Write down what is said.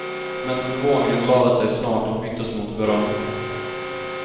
Men förvåningen lade sig snart och byttes mot beröm.